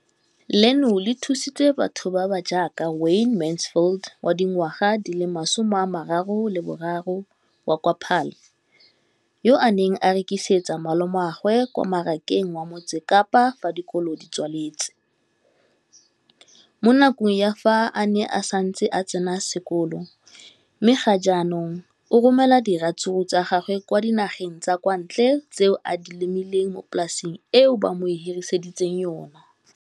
Leno le thusitse batho ba ba jaaka Wayne Mansfield, 33, wa kwa Paarl, yo a neng a rekisetsa malomagwe kwa Marakeng wa Motsekapa fa dikolo di tswaletse, mo nakong ya fa a ne a santse a tsena sekolo, mme ga jaanong o romela diratsuru tsa gagwe kwa dinageng tsa kwa ntle tseo a di lemileng mo polaseng eo ba mo hiriseditseng yona.